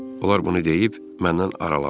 Onlar bunu deyib məndən aralandılar.